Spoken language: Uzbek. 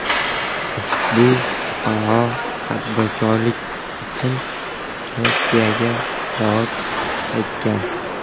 Ushbu fuqaro tadbirkorlik uchun Turkiyaga borib qaytgan.